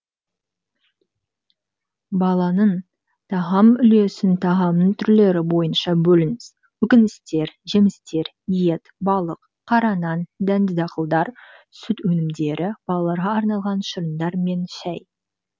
баланың тағам үлесін тағамның түрлері бойынша бөліңіз көкөністер жемістер ет балық қара нан дәнді дақылдар сүт өнімдері балаларға арналған шырындар мен шай